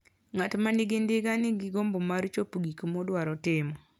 Ng'at ma nigi ndiga nigi gombo mar chopo gik modwaro timo.